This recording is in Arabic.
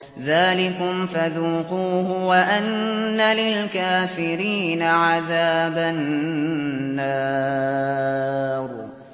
ذَٰلِكُمْ فَذُوقُوهُ وَأَنَّ لِلْكَافِرِينَ عَذَابَ النَّارِ